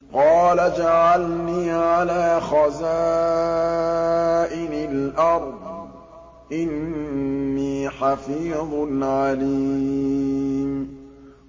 قَالَ اجْعَلْنِي عَلَىٰ خَزَائِنِ الْأَرْضِ ۖ إِنِّي حَفِيظٌ عَلِيمٌ